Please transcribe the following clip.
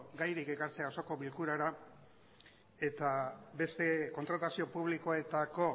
gairik ekartzea osoko bilkurara eta beste kontratazio publikoetako